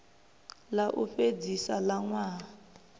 ḽa u fhedzisa ḽa ṅwaha